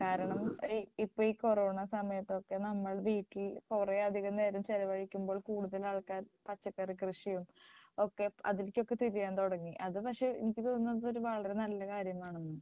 കാരണം ഇപ്പോ ഈ കൊറോണ സമയത്തൊക്കെ നമ്മൾ വീട്ടിൽ കുറെയധികം നേരം ചെലവഴിക്കുമ്പോൾ കൂടുതൽ ആൾക്കാർ പച്ചക്കറികൃഷിയും ഒക്കെ അതിൽകൊക്കേ തിരിയാൻ തുടങ്ങി അത് പക്ഷേ എനിക്ക് തോന്നുന്നത് ഒരു വളരെ നല്ല കാര്യമാണെന്നാണ്